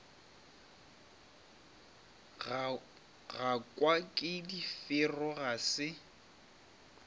gakwa ke difero ga se